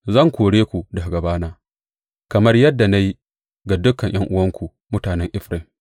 Zan kore ku daga gabana, kamar yadda na yi ga dukan ’yan’uwanku, mutanen Efraim.’